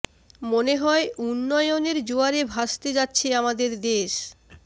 মনে হয় উন্নয়নের জোয়ারে ভাসতে যাচ্ছে আমাদের দেশ